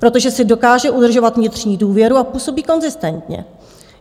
Protože si dokáže udržovat vnitřní důvěru a působí konzistentně.